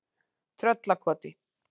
Tröllakoti